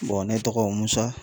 bɔn ne tɔgɔ musa